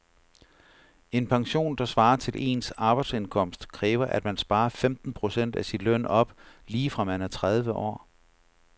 En pension, der svarer til ens arbejdsindkomst, kræver at man sparer femten procent af sin løn op lige fra man er tredive år.